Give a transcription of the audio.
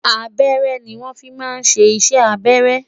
abẹrẹ ni won fí má sé iṣẹ abẹrẹ